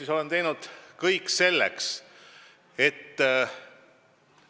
Ma olen teinud kõik selleks, et ...